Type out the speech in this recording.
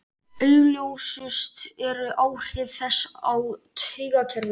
Augljósust eru áhrif þess á taugakerfið.